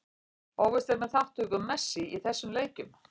Óvíst er með þátttöku Messi í þessum leikjum.